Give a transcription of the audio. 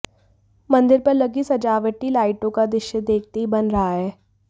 मंदिर पर लगी सजावटी लाइटों का दृश्य देखते ही बन रहा है